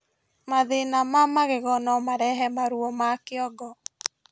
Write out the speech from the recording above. mathĩna ma magego nomarehe maruo ma kĩongo